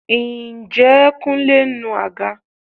Ǹjẹ́ Kúnlé ń nu àga?